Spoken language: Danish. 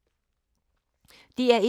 DR1